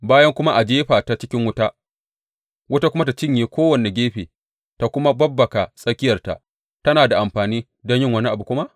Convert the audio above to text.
Bayan kuma a jefa ta cikin wuta, wuta kuma ta cinye kowane gefe ta kuma babbaka tsakiyarta, tana da amfani don yin wani abu kuma?